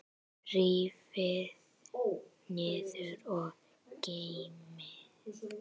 Rífið niður og geymið.